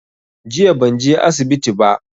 Jiya ban je asibitin ba